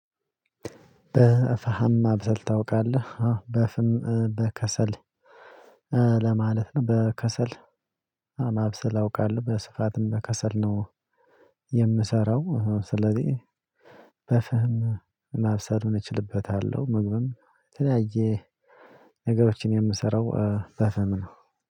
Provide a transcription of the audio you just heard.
በፍም ማብሰል ታውቃለህ? አወ በፍም በከሰል በከሰል ማብሰል አውቃለሁ በስፍትም በከሰል ነው የምሰራው ስለዚህ በፍህም ማብሰል እችልበታለሁ ምግብም የተለያየ ነገሮችን የምሰራው በፍህም ነው